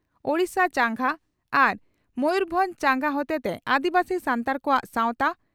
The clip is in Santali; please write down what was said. ᱳᱰᱤᱥᱟ ᱪᱟᱸᱜᱟ ᱟᱨ ᱢᱚᱭᱩᱨᱵᱷᱚᱸᱡᱽ ᱪᱟᱸᱜᱟ ᱦᱚᱛᱮᱛᱮ ᱟᱹᱫᱤᱵᱟᱹᱥᱤ ᱥᱟᱱᱛᱟᱲ ᱠᱚᱣᱟᱜ ᱥᱟᱣᱛᱟ